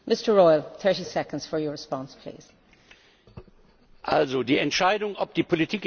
Die Entscheidung, ob die Politik in Griechenland gut oder schlecht war, die werden irgendwann andere Menschen treffen.